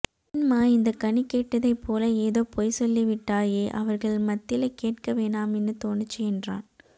ஏன்ம்மா இந்த கனி கேட்டதைப் போல ஏதோ பொய் சொல்லிவிட்டாயே அவர்கள் மத்தில கேட்க வேணாமின்னு தோனுச்சு என்றான்